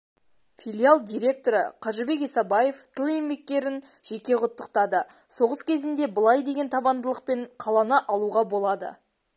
филиал директоры қажыбек исабаев тыл еңбеккерін жеке құттықтады соғыс кезінде былай деген табандылықпен қаланы алуға болады